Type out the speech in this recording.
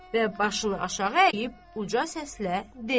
Və başını aşağı əyib uca səslə dedi: